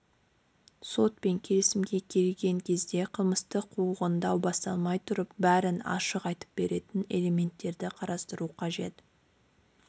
сотпен келісімге келген кезде қылмыстық қуғындау басталмай тұрып бәрін ашық айтып беретіндей элементтерді қарастыру қажет